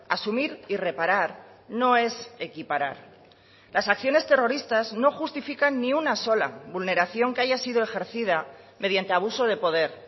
asumir y reparar no es equiparar las acciones terroristas no justifican ni una sola vulneración que haya sido ejercida mediante abuso de poder